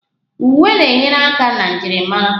Uwe na-enyere aka na njirimara